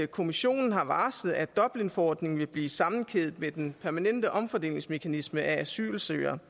kommissionen har varslet at dublinforordningen vil blive sammenkædet med den permanente omfordelingsmekanisme af asylsøgere